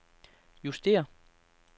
justér